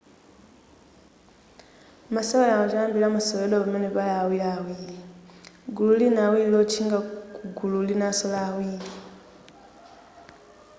masewerawa choyambilira amaseweredwa pamene pali awiriawiri gulu lina awiri lotchinga kugulu linaso la awiri